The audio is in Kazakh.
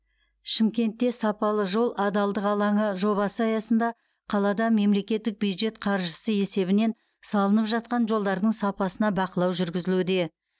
шымкентте сапалы жол адалдық алаңы жобасы аясында қалада мемлекеттік бюджет қаржысы есебінен салынып жатқан жолдардың сапасына бақылау жүргізілуде